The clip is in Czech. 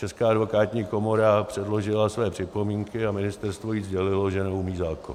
Česká advokátní komora předložila své připomínky a ministerstvo jí sdělilo, že neumí zákon.